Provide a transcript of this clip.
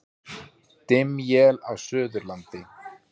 Dimm él á Suðurlandi